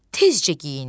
Tezcə geyindi.